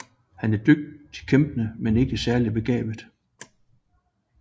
Han er en dygtig kæmper men ikke særlig begavet